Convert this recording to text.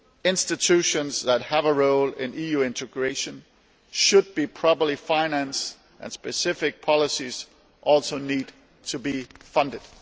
Institutions that have a role in EU integration should be properly financed, and specific policies also need to be funded.